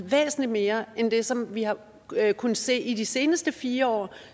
væsentlig mere end det som vi har kunnet se i de seneste fire år